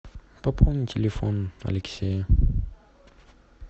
пополни телефон алексея